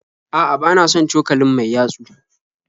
A'a bana son cokalin mai yatsu